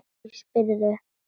Hví spyrðu?